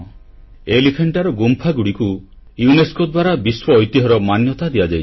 ଏଲିଫାଣ୍ଟାର ଗୁମ୍ଫାଗୁଡ଼ିକୁ ୟୁନେସ୍କୋ ଦ୍ୱାରା ବିଶ୍ୱଐତିହ୍ୟର ମାନ୍ୟତା ଦିଆଯାଇଛି